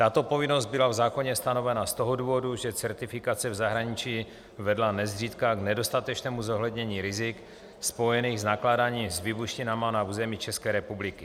Tato povinnost byla v zákoně stanovena z toho důvodu, že certifikace v zahraničí vedla nezřídka k nedostatečnému zohlednění rizik spojených s nakládáním s výbušninami na území České republiky.